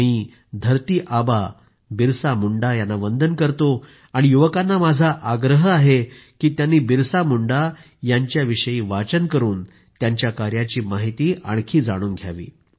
मी धरती बाबा बिरसा मुंडा यांना वंदन करतो आणि युवकांना माझा आग्रह आहे की त्यांनी बिरसा मुंडा यांच्याविषयी वाचन करून त्यांच्या कार्याची माहिती आणखी जाणून घ्यावी